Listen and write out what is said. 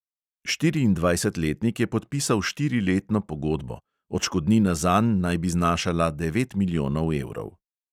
Štiriindvajsetletnik je podpisal štiriletno pogodbo, odškodnina zanj naj bi znašala devet milijonov evrov.